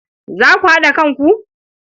Za ku haɗa kanku?